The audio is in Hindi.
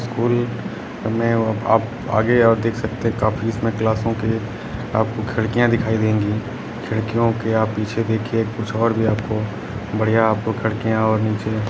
स्कूल में आप आगे और देख सकते हैं काफी इसमें क्लासों के आपको खिड़कियां दिखाई देंगी खिड़कियों के आप पीछे देखिए कुछ और भी आपको बढ़िया आपको खिड़कियां और नीचे --